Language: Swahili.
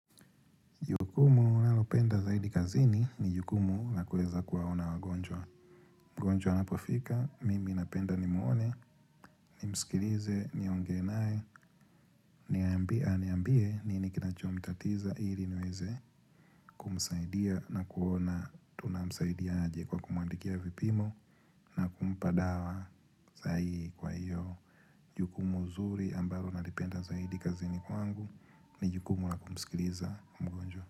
Jukumu ninalopenda zaidi kazini ni jukumu la kuweza kuwaona wagonjwa. Mgonjwa anapofika, mimi napenda nimuone, nimsikilize, niongee nae. Niambie, aniambie, nini kinachomtatiza ili niweze kumsaidia na kuona tunamsaidia aje kwa kumwandikia vipimo na kumpa dawa zaidi kwa hiyo. Jukumu nzuri ambalo nalipenda zaidi kazini kwangu ni jukumu la kumsikiliza mgonjwa.